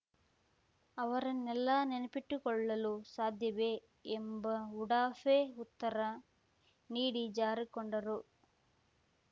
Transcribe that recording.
ಅವರನ್ನೆಲ್ಲಾ ನೆನಪಿನಲ್ಲಿಟ್ಟುಕೊಳ್ಳಲು ಸಾಧ್ಯವೇ ಎಂಬ ಉಡಾಫೆ ಉತ್ತರ ನೀಡಿ ಜಾರಿಕೊಂಡರು